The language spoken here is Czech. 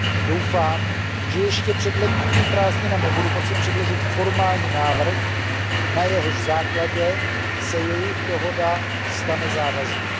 Doufám, že ještě před letními prázdninami budu moci předložit formální návrh, na jehož základě se jejich dohoda stane závaznou.